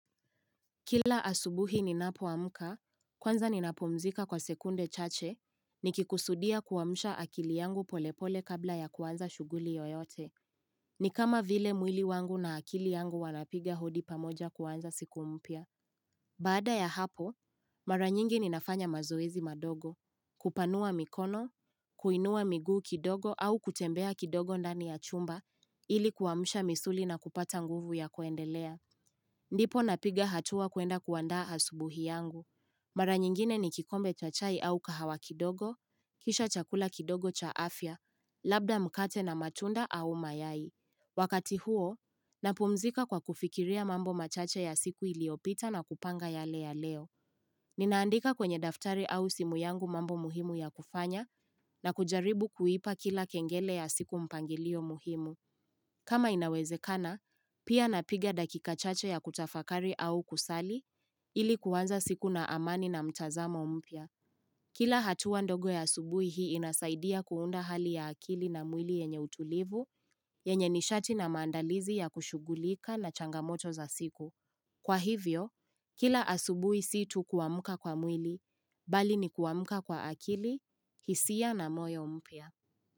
Kila asubuhi ninapo amka, kwanza ninapo mzika kwa sekunde chache, nikikusudia kuwamsha akili yangu polepole kabla ya kuanza shuguli yoyote. Ni kama vile mwili wangu na akili yangu wanapiga hodi pamoja kuanza siku mpya. Baada ya hapo, mara nyingi ninafanya mazoezi madogo, kupanua mikono, kuinua miguu kidogo au kutembea kidogo ndani ya chumba ili kuamsha misuli na kupata nguvu ya kuendelea. Ndipo na piga hatua kuenda kuanda asubuhi yangu. Mara nyingine ni kikombe cha chai au kahawa kidogo, kisha chakula kidogo cha afya, labda mkate na matunda au mayai. Wakati huo, napumzika kwa kufikiria mambo machache ya siku iliopita na kupanga yale ya leo. Ninaandika kwenye daftari au simu yangu mambo muhimu ya kufanya na kujaribu kuipa kila kengele ya siku mpangilio muhimu. Kama inawezekana, pia napiga dakika chache ya kutafakari au kusali, ili kuanza siku na amani na mchazamo mpya. Kila hatuwa ndogo ya asubui hii inasaidia kuunda hali ya akili na mwili yenye utulivu, yenye nishati na maandalizi ya kushugulika na changamoto za siku. Kwa hivyo, kila asubui sii ti kuamka kwa mwili, bali ni kuamka kwa akili, hisia na moyo mpya.